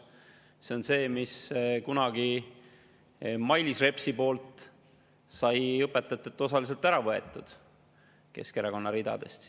See on see, mille Mailis Reps kunagi õpetajatelt osaliselt ära võttis, see tuli Keskerakonna ridadest.